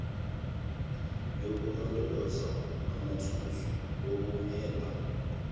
yokulondoloza amathuluzi okuhweba